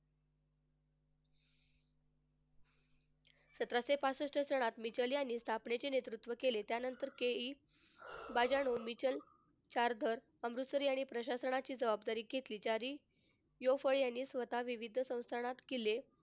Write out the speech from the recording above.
सतराशे पासष्ट सालात यांनी स्थापनेचे नेतृत्व केले. त्यानंतर K E चारधन अमृतसर यांनी प्रशासनाची जबाबदारी घेतली ज्यांनी यांनी स्वतः विविध संस्थानांत किल्ले,